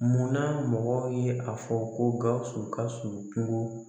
Munna mɔgɔw ye a fɔ ko Gawusu Gawusu juru